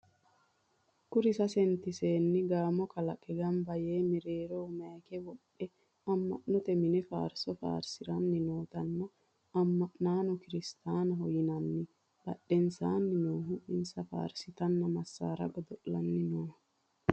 Kuri sasent seenni gamo kalaqe gamba yee mereero mayika wodhe ama'note mine faarso faarsanni no.tenne ama'nono kirstaanaho yinanni badhensanni noohu insa faarsitanna massara godo'lanni no.